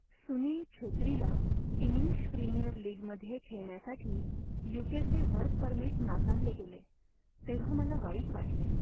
सुनील छेत्रीला English premier लीगमध्ये खेळण्यासाठी यू.के.चे वर्क परमिट नाकारले गेले तेव्हा मला वाईट वाटले.